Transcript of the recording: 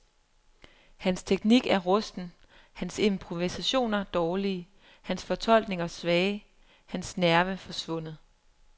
Hans teknik er rusten, hans improvisationer dårlige, hans fortolkninger svage, hans nerve forsvundet.